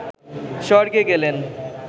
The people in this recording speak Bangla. স্বর্গে গেলেন